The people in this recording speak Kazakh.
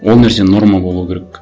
ол нәрсе норма болу керек